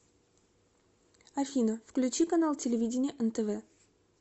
афина включи канал телевидения нтв